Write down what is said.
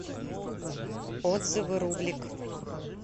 отзывы рубликъ